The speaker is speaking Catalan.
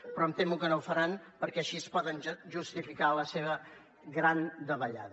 però em temo que no ho faran perquè així poden justificar la seva gran davallada